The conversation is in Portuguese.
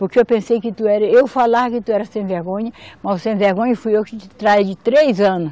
Porque eu pensei que tu era, eu falava que tu era sem vergonha, mas o sem vergonha fui eu que te traí de três anos.